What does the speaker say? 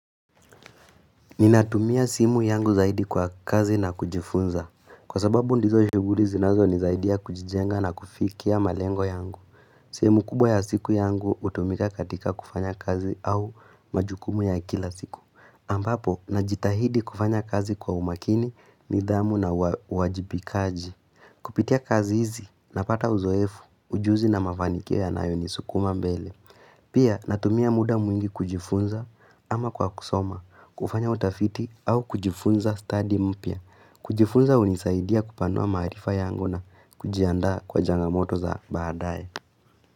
Ninatumia simu yangu zaidi kwa kazi na kujifunza. Kwa sababu ndizo shuguri zinazo nizaidia kujijenga na kufikia malengo yangu. Simu kubwa ya siku yangu utumika katika kufanya kazi au majukumu ya kila siku. Ambapo, najitahidi kufanya kazi kwa umakini, nidhamu na wajibikaji. Kupitia kazi hizi, napata uzoefu, ujuzi na mafanikio ya nayo ni sukuma mbele. Pia natumia muda mwingi kujifunza ama kwa kusoma, kufanya utafiti au kujifunza study mpia. Kujifunza unisaidia kupanua marifaa yangu na kujiandaa kwa jangamoto za baadae.